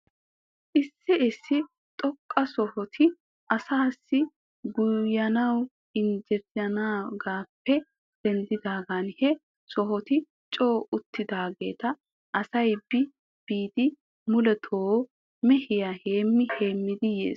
Issi issi xoqqa sohoti asaasi guyyanaw injjetenaagaappe denddidaaga he sohoti coo uttidaageeta asa bi biidi muleto mehiyaa heemmi heemmidi yes.